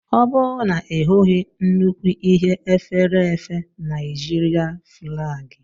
O bu na Ị hụghị nnukw Ihe efèrèèfé Nijir5?